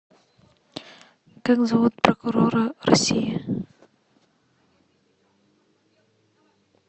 как зовут прокурора россии